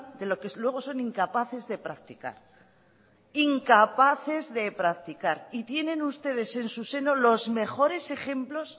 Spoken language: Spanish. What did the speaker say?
de lo que luego son incapaces de practicar incapaces de practicar y tienen ustedes en su seno los mejores ejemplos